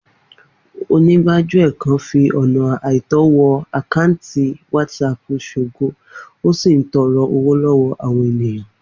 Onígbájúẹ̀ kan fi ọ̀nà àìtọ́ wọ àkáǹtì WhatsApp Ṣògo ó sì ń tọrọ owó lọ́wọ́ àwọn ènìyàn